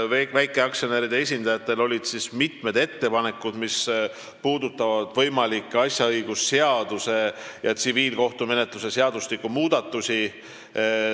Väikeaktsionäride esindajatel olid mitmed ettepanekud, mis puudutasid asjaõigusseaduse ja tsiviilkohtumenetluse seadustiku muudatusi.